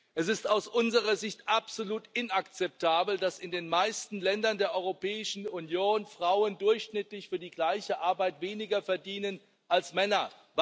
Es ist aus unserer Sicht absolut inakzeptabel, dass in den meisten Ländern der Europäischen Union Frauen durchschnittlich für die gleiche Arbeit weniger verdienen als Männer.